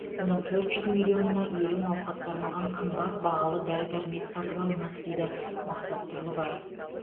оның төрт жүз миллионына елу науқасқа арналған қымбат бағалы дәрі дәрмек сатып алынады дейді мақсат тұрлыбаев